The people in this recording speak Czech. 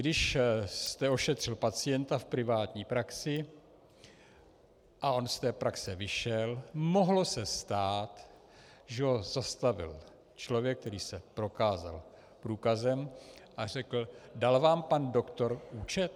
Když jste ošetřil pacienta v privátní praxi a on z té praxe vyšel, mohlo se stát, že ho zastavil člověk, který se prokázal průkazem a řekl: Dal vám pan doktor účet?